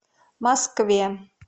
москве